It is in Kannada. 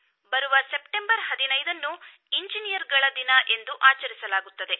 ಬರುವ ಸೆಪ್ಟೆಂಬರ್ ಹದಿನೈದನ್ನು ಇಂಜಿನಿಯರ್ಗಳ ದಿನ ಎಂದು ಆಚರಿಸಲಾಗುತ್ತದೆ